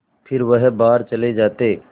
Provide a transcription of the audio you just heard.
फिर वह बाहर चले जाते